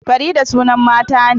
Farida sunan mata ne